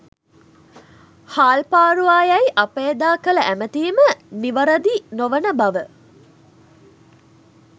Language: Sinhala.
හාල්පාරුවා යැයි අප එදා කළ ඇමතීම නිවරදි නොවන බව